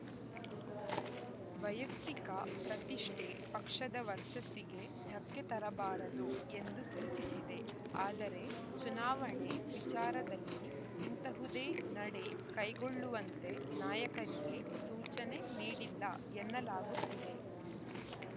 ವೈಯುಕ್ತಿಕ ಪ್ರತಿಷ್ಠೆ ಪಕ್ಷದ ವರ್ಚಸ್ಸಿಗೆ ಧಕ್ಕೆ ತರಬಾರದು ಎಂದು ಸೂಚಿಸಿದೆ ಆದರೆ ಚುನಾವಣೆ ವಿಚಾರದಲ್ಲಿ ಇಂತಹುದೇ ನಡೆ ಕೈಗೊಳ್ಳುವಂತೆ ನಾಯಕರಿಗೆ ಸೂಚನೆ ನೀಡಿಲ್ಲ ಎನ್ನಲಾಗುತ್ತಿದೆ